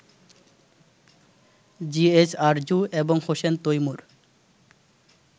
GH Arju এবং হোসেন তৈমূর